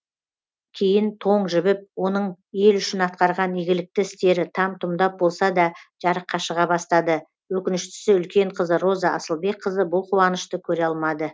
кейін тоң жібіп оның ел үшін атқарған игілікті істері там тұмдап болса да жарыққа шыға бастады өкініштісі үлкен қызы роза асылбекқызы бұл қуанышты көре алмады